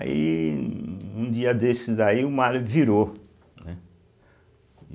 Aí, um um dia desses daí, o mar virou, né.